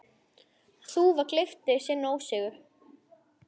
Þúfa gleypti sinn ósigur.